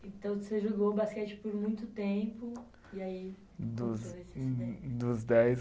Então, você jogou basquete por muito tempo e aí aconteceu esse acidente. Do dos dez